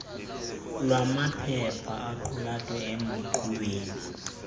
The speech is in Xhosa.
lwamaphepha aqulathwe emqulwini